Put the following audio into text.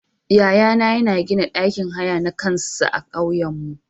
Yaya na yana gina ɗakin haya na kansa a ƙauyanmu.